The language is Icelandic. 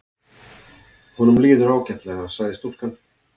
Honum líður ágætlega sagði stúlkan.